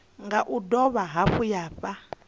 nga dovha hafhu ya fha